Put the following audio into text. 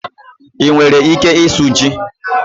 Ị nwere ike ịsụ ji?